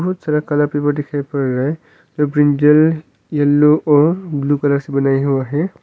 बहुत सारा colour paper दिखाई पड़ रहा है जो ब्रिंजल येलो और ब्ल्यू कलर से बनाया हुआ है।